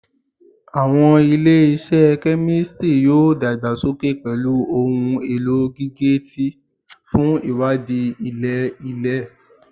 Awọn ile-iṣẹ kemistri yoo dagbasoke pẹlu ohun elo gige-eti fun iwadii ilẹ-ilẹ